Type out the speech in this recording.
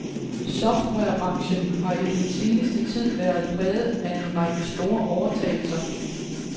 Softwarebranchen har i den seneste tid være præget af en række store overtagelser.